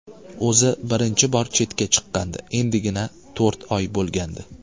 O‘zi birinchi bor chetga chiqqandi, endigina to‘rt oy bo‘lgandi.